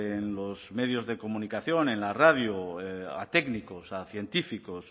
en los medios de comunicación en la radio a técnicos a científicos